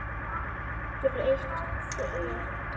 Breytt þér.